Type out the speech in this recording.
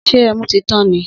Sẹ ẹmú ti tàn ní?